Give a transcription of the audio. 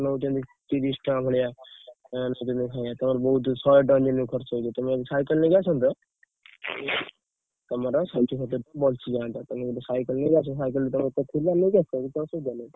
ନଉଛନ୍ତି ତିରିଶ ଟଙ୍କା ଭଳିଆ ତମର ବହୁତ ଶହେ ଟଙ୍କା ଦିନକୁ ଖର୍ଚ୍ଚ ହେଇଯିବ, ତମେ ଯଦି cycle ନେଇକି ଆସନ୍ତ, ତମର ଷାଠିଏ ସତୁରୀ ଟଙ୍କା ବଞ୍ଚିଜାନ୍ତା। ତମେ ଗୋଟେ cycle ଆଣିକି ଆସ cycle ତ ତମର ଥିଲା ନେଇକି ଆସ କିଛି ଅସୁବିଧା ନାହିଁ।